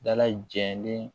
Dala jɛlen